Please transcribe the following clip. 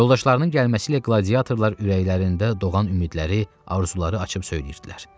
Yoldaşlarının gəlməsi ilə qladiyatorlar ürəklərində doğan ümidləri, arzuları açıb söyləyirdilər.